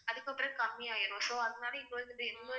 அதுக்கப்புறம் கம்மியாயிரும் so அதனால இங்க வந்து